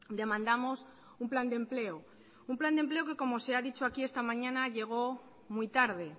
demandamos un plan de empleo un plan de empleo que como se ha dicho aquí esta mañana llegó muy tarde